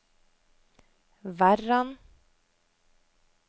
Verran